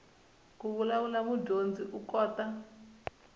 ku vulavula mudyondzi u kota